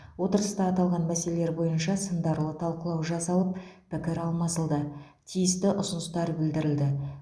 отырыста аталған мәселелер бойынша сындарлы талқылау жасалып пікір алмасылды тиісті ұсыныстар білдірілді